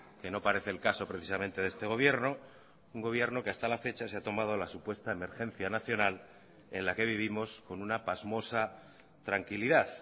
que no parece el caso precisamente de este gobierno un gobierno que hasta la fecha se ha tomado la supuesta emergencia nacional en la que vivimos con una pasmosa tranquilidad